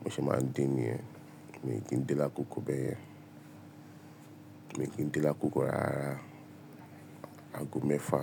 mo ṣe máa ń de ni yen, mi ò kí ń dé lákòókò bẹ́yẹn. Mi ò kí ń dé lákòókò rárá, ago mẹ́fà.